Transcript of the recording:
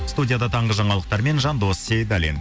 студияда таңғы жаңалықтармен жандос сейдаллин